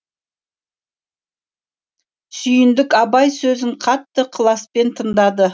сүйіндік абай сөзін қатты ықыласпен тыңдады